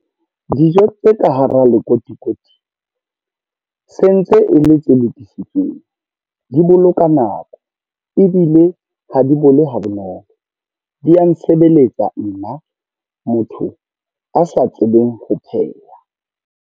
Dijo tse ka hara lekotikoti, se ntse e le tse lokisitsweng. Di boloka nako, ebile ha di bole ha bonolo. Di ya nsebeletsa nna motho a sa tsebeng ho pheha.